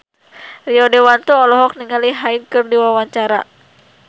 Rio Dewanto olohok ningali Hyde keur diwawancara